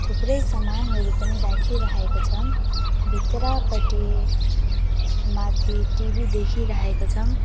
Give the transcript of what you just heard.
थुप्रै सामानहरू पनि राखिरहेको छ भित्रपटि माथि टी_वी देखिरहेको छन्।